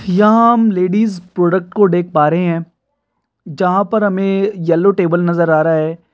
यहाँ हम ladies product को देक पा रहे हैं। जहा पर हमें येलो टेबल नजर आ रहे हैं।